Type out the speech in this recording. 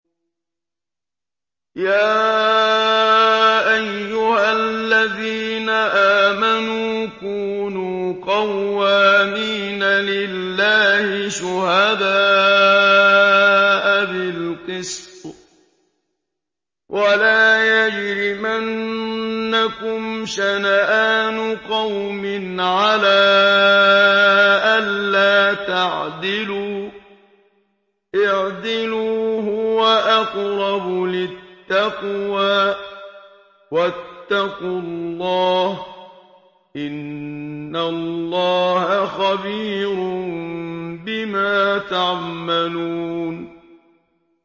يَا أَيُّهَا الَّذِينَ آمَنُوا كُونُوا قَوَّامِينَ لِلَّهِ شُهَدَاءَ بِالْقِسْطِ ۖ وَلَا يَجْرِمَنَّكُمْ شَنَآنُ قَوْمٍ عَلَىٰ أَلَّا تَعْدِلُوا ۚ اعْدِلُوا هُوَ أَقْرَبُ لِلتَّقْوَىٰ ۖ وَاتَّقُوا اللَّهَ ۚ إِنَّ اللَّهَ خَبِيرٌ بِمَا تَعْمَلُونَ